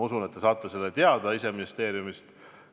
Usun, et te saate selle teada, kui ise ministeeriumist küsite.